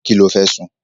Kí ló fẹ́ sun?